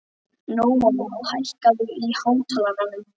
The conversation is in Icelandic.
Nóam, hækkaðu í hátalaranum.